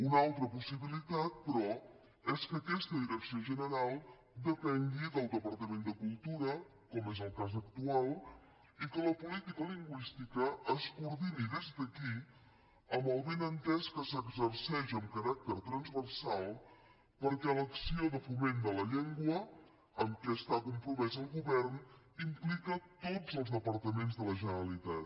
una altra possibilitat però és que aquesta direcció general depengui del departament de cultura com és el cas actual i que la política lingüística es coordini des d’aquí amb el benentès que s’exerceix amb caràcter transversal perquè l’acció de foment de la llengua en què està compromès el govern implica tots els departaments de la generalitat